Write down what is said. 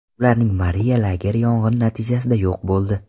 Ularning Moriya lageri yong‘in natijasida yo‘q bo‘ldi.